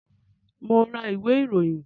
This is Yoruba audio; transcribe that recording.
Mo ń ra ìwé ìròyìn